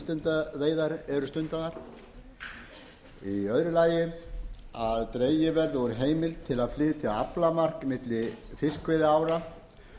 eru stundaðar annars dregið verði úr heimild til að flytja aflamark milli fiskveiðiára